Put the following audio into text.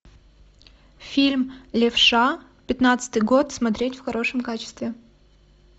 фильм левша пятнадцатый год смотреть в хорошем качестве